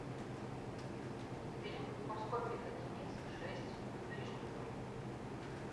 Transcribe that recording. фильм морской пехотинец шесть ближний бой